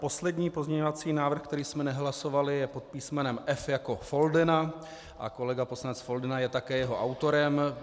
Poslední pozměňovací návrh, který jsme nehlasovali, je pod písmenem F jako Foldyna a kolega poslanec Foldyna je také jeho autorem.